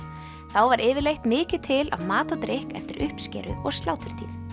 þá var yfirleitt mikið til af mat og drykk eftir uppskeru og sláturtíð